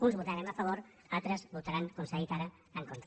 uns hi votarem a favor altres hi votaran com s’ha dit ara en contra